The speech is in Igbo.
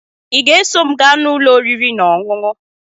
Ị ga-eso m gaa n'ụlọ oriri na ọṅụṅụ?